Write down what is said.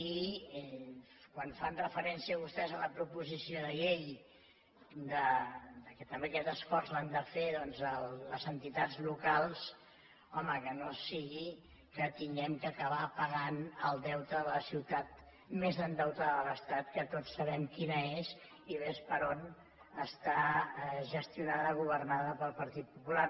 i quan fan referència vostès en la proposició de llei que també aquest esforç l’han de fer les entitats locals home que no sigui que hàgim d’acabar pagant el deute de la ciutat més endeutada de l’estat que tots sabem quina és i ves per on està gestionada governada pel partit popular